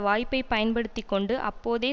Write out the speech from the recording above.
வாய்ப்பை பயன்படுத்தி கொண்டு அப்போதே